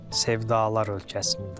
Sevdalar ölkəsində.